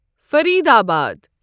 Faridabad